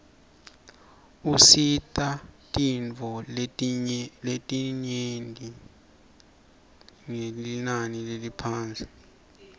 usita bitfoletinifo ngelinani leliphasi